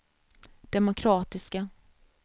demokratiska